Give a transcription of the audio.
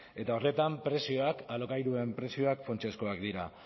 eta horretan prezioak alokairuen prezioak funtsezkoak dira